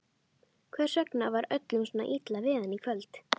Hvers vegna var öllum svona illa við hann í kvöld?